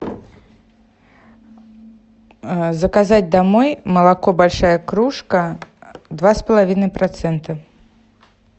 заказать домой молоко большая кружка два с половиной процента